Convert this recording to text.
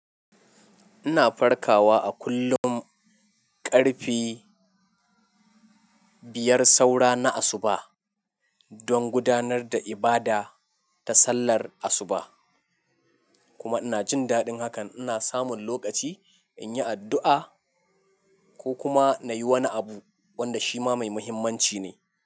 Ina farkawa a kullum ƙarfe biyar saura na asuba don gudanar da ibada ta sallar asuba, kuma ina jin daɗin hakan. Ina samun lokaci in yi addu'a ko kuma na yi wani abu wanda shi ma mai muhimmanci ne.